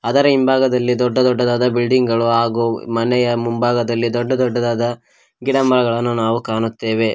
ಅದರ ಹಿಂಭಾಗದಲ್ಲಿ ದೊಡ್ಡ ದೊಡ್ಡದಾದ ಬಿಲ್ಡಿಂಗ್ ಗಳು ಹಾಗು ಅವು ಮನೆಯ ಮುಂಭಾಗದಲ್ಲಿ ದೊಡ್ಡ ದೊಡ್ಡದಾದ ಗಿಡ ಮರಗಳನ್ನು ನಾವು ಕಾಣುತ್ತೆವೆ.